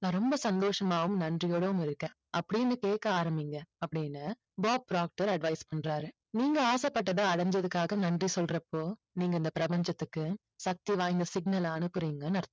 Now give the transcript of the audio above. நான் ரொம்ப சந்தோஷமாவும் நன்றியோடவும் இருக்கேன். அப்படின்னு கேக்க ஆரம்பிங்க அப்படின்னு பாப் ட்ராப்டர் advice பண்றாரு. நீங்க ஆசைப்பட்டதை அடைஞ்சதுக்காக நன்றி சொல்றப்போ நீங்க இந்த பிரபஞ்சத்துக்கு சக்தி வாய்ந்த signal அ அனுப்புறீங்கன்னு அர்த்தம்.